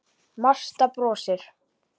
Marta brosir.